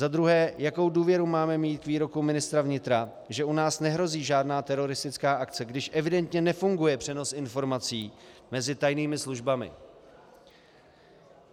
Za druhé, jakou důvěru máme mít k výroku ministra vnitra, že u nás nehrozí žádná teroristická akce, když evidentně nefunguje přenos informací mezi tajnými službami.